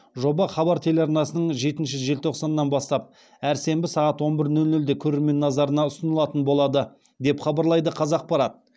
жоба хабар телеарнасының жетінші желтоқсаннан бастап әр сенбі сағат он бір нөл нөлде көрермен назарына ұсынылатын болады деп хабарлайды қазақпарат